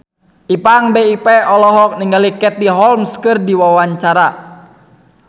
Ipank BIP olohok ningali Katie Holmes keur diwawancara